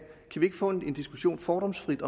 vi ikke få en diskussion fordomsfrit